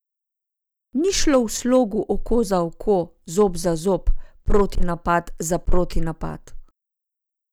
Ni šlo v slogu oko za oko, zob za zob, protinapad za protinapad.